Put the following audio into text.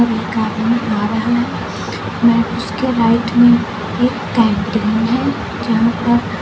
एक आदमी आ रहा है वह उसके राइट में एक कैंटीन है जहां पर --